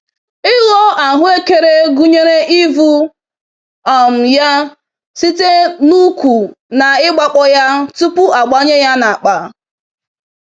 Ịghọ ahuekere gụnyere ivụ um ya site n'ukwu na igba kpọ ya tupu agbanye ya n'akpa. um